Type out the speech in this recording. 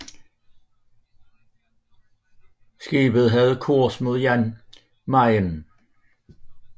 Skibet havde kurs mod Jan Mayen